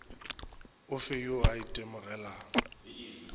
o fe yo a itemogelago